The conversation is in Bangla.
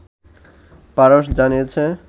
ফারস্ জানিয়েছে